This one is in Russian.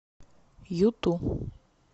юту